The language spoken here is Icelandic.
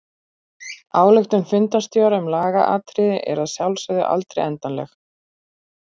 Ályktun fundarstjóra um lagaatriði er að sjálfsögðu aldrei endanleg.